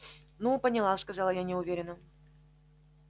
ну поняла сказала я неуверенно